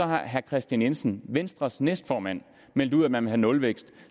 har herre kristian jensen venstres næstformand meldt ud at man vil have nulvækst